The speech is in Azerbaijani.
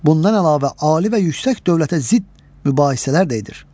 Bundan əlavə ali və yüksək dövlətə zidd mübahisələr də edir.